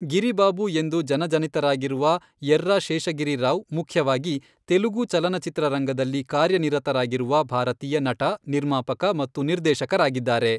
ಗಿರಿ ಬಾಬು ಎಂದು ಜನಜನಿತರಾಗಿರುವ ಯೆರ್ರಾ ಶೇಷಗಿರಿ ರಾವ್ ಮುಖ್ಯವಾಗಿ ತೆಲುಗು ಚಲನಚಿತ್ರರಂಗದಲ್ಲಿ ಕಾರ್ಯನಿರತರಾಗಿರುವ ಭಾರತೀಯ ನಟ, ನಿರ್ಮಾಪಕ ಮತ್ತು ನಿರ್ದೇಶಕರಾಗಿದ್ದಾರೆ.